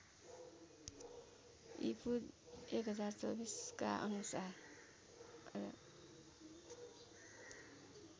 ईपू १०२४ का अनुसार